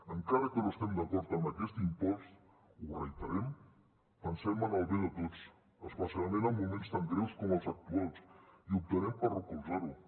encara que no estem d’acord amb aquest impost ho reiterem pensem en el bé de tots especialment en moments tan greus com els actuals i optarem per recolzar ho